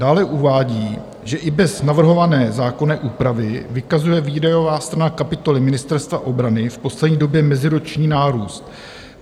Dále uvádí, že i bez navrhované zákonné úpravy vykazuje výdajová strana kapitoly Ministerstva obrany v poslední době meziroční nárůst.